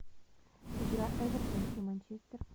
игра эвертон и манчестер